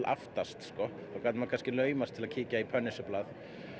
aftast þá gat maður kannski laumast í Punisher blað